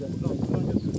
Qoy burdan götürsün.